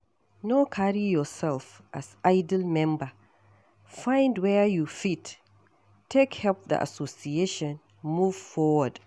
No carry yourself as idle member, find where you fit take help the association move forward